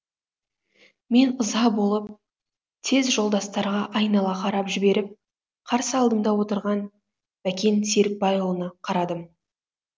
мен ыза болып тез жолдастарға айнала қарап жіберіп қарсы алдымда отырған бәкен серікбайұлына қарадым